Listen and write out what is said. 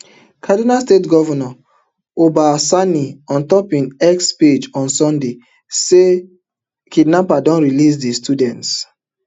kaduna state govnor uba sanni ontop im x page on sunday say sunday say kidnappers don release di students